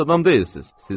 Pis adam deyilsiz.